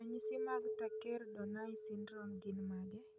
Ranyisi mag Thakker Donnai syndrome gin mage?